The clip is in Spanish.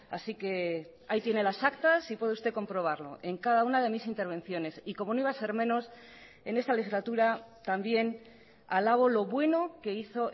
así que ahí tiene las actas y puede usted comprobarlo en cada una de mis intervenciones y como no iba a ser menos en esta legislatura también alabo lo bueno que hizo